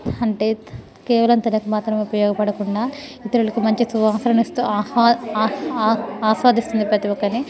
అన్తే కేవలము తనకు మాత్రమే ఉపయోగ పడకుందా యితరులకు మంచి సువాసనలు ఇస్తూ ఆహ్ ఆహ్ అశ్వదీస్తుంది ప్రతి ఒక్కరిని .